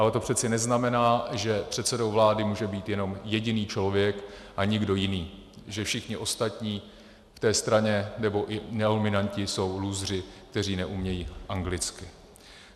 Ale to přeci neznamená, že předsedou vlády může být jenom jediný člověk a nikdo jiný, že všichni ostatní v té straně nebo i nenominanti jsou lůzři, kteří neumějí anglicky.